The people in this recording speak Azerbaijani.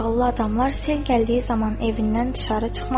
Ağıllı adamlar sel gəldiyi zaman evindən duşarı çıxmaz.